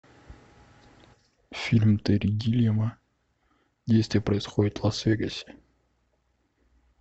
фильм терри гиллиама действие происходит в лас вегасе